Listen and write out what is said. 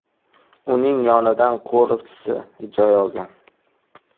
Uning yonidan qo‘riqchisi joy olgan.